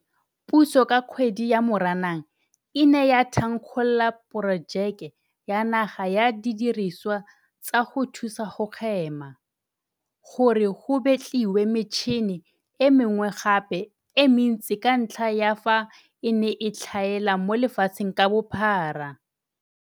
Puso ka kgwedi ya Moranang e ne ya thankgolola Porojeke ya Naga ya Didirisiwa tsa go Thusa go Hema, gore go betliwe metšhini e mengwe gape e mentsi ka ntlha ya fa e ne e tlhaela mo lefatsheng ka bophara.